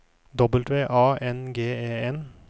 W A N G E N